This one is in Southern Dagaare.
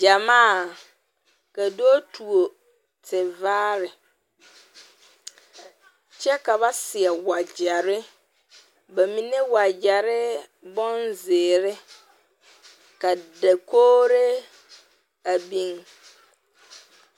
Gyɛmaa ka dɔɔ tuo tevaare kyɛ ka ba seɛ wagyɛre ba mine wagyɛre bonzeere ka dakogre a biŋ.